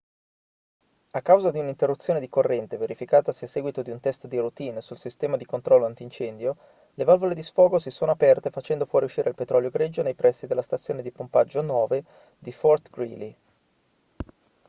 a causa di un'interruzione di corrente verificatasi a seguito di un test di routine sul sistema di controllo antincendio le valvole di sfogo si sono aperte facendo fuoriuscire il petrolio greggio nei pressi della stazione di pompaggio 9 di fort greely